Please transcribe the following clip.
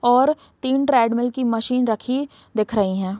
और तीन ट्रेडमील की मशीन दिख रखी हैं।